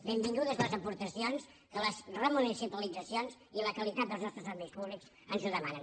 benvingudes les aportacions que les remunicipalitzacions i la qualitat dels nostres serveis públics ens ho demanen